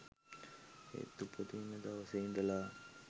ඒත් උපදින දවසේ ඉඳලා.